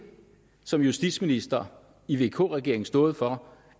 som justitsminister i vk regeringen har stået for